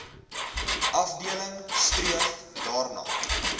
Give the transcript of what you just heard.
afdeling streef daarna